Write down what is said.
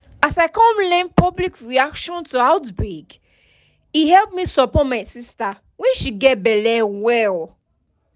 as i come learn public reaction to outbreake help me support my sister when she gets belle well